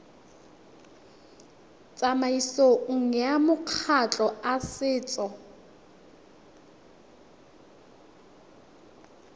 tsamaisong ya makgotla a setso